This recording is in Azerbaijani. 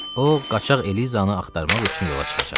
O qaçaq Elizanı axtarmaq üçün yola çıxacaqdı.